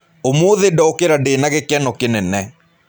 ũmũthĩ ndokĩra ndĩ na gĩkeno kĩnene.